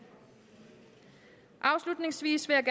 afslutningsvis vil jeg